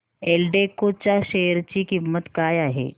एल्डेको च्या शेअर ची किंमत काय आहे